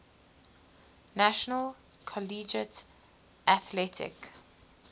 national collegiate athletic